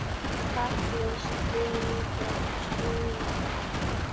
Þú ert falleg, stynur hann.